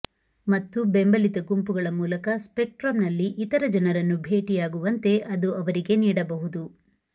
ಮತ್ತು ಬೆಂಬಲಿತ ಗುಂಪುಗಳ ಮೂಲಕ ಸ್ಪೆಕ್ಟ್ರಮ್ನಲ್ಲಿ ಇತರ ಜನರನ್ನು ಭೇಟಿಯಾಗುವಂತೆ ಅದು ಅವರಿಗೆ ನೀಡಬಹುದು